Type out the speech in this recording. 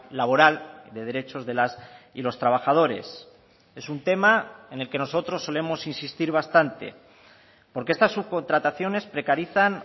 laboral de derechos de las y los trabajadores es un tema en el que nosotros solemos insistir bastante porque estas subcontrataciones precarizan